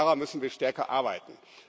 Daran müssen wir stärker arbeiten.